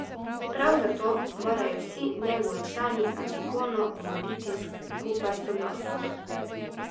Prav zato morajo vsi njegovi člani Antigono umoriti skupaj, soglasno.